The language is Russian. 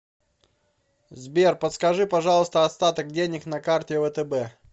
сбер подскажи пожалуйста остаток денег на карте втб